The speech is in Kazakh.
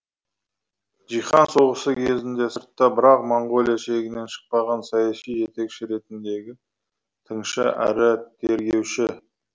жиһан соғысы кезінде сыртта бірақ моңғолия шегінен шықпаған саяси жетекші ретіндегі тыңшы әрі тергеуші